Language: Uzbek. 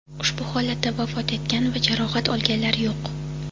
Ushbu holatda vafot etgan va jarohat olganlar yo‘q.